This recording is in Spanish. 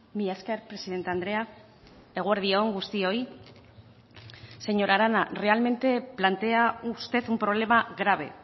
mila esker presidente andrea eguerdi on guztioi señora arana realmente plantea usted un problema grave